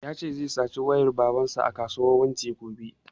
Ya ce zai sace wayan baban sa a kasuwar wunti gobe